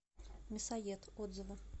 мясоед отзывы